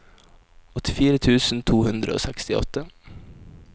åttifire tusen to hundre og sekstiåtte